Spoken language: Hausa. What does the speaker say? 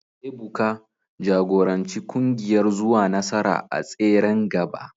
Ebuka, jagoranci kungiyar zuwa nasara a tseren gaba